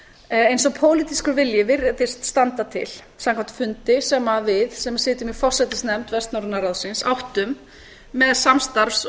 eins og pólitískur vilji virðist standa til samkvæmt fundi sem við sem sitjum í forsætisnefnd vestnorræna ráðsins áttum með samstarfs og